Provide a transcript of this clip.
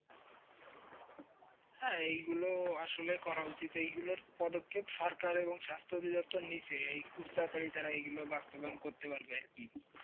হ্যাঁ এইগুলো আসলে করা উচিত এগুলোর পদ্ধতি সরকার এবং স্বাস্থ্য অধিদপ্তর নিজে খুব তাড়াতাড়ি খুব তাড়াতাড়ি এগুলো বাস্তবায়ন করতে পারবে আর কি ।